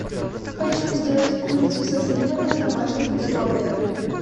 хочу сделать курицу со сливами в домашних условиях